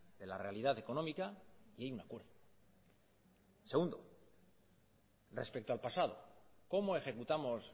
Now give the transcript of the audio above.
de la realidad económica y hay un acuerdo segundo respecto al pasado cómo ejecutamos